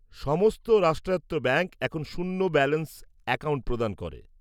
সমস্ত রাষ্ট্রায়ত্ত ব্যাঙ্ক এখন শূন্য ব্যালেন্স অ্যাকাউন্ট প্রদান করে।